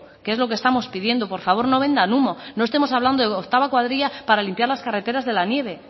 que es lo que estamos pidiendo por favor no vendan humo no estamos hablando de octava cuadrilla para limpiar las carreteras de la nieve